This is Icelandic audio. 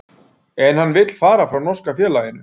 En vill hann fara frá norska félaginu?